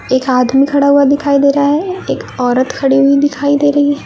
एक आदमी खड़ा हुआ दिखाई दे रहा है एक औरत खड़ी हुई दिखाई दे रही--